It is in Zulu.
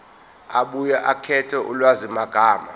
abuye akhethe ulwazimagama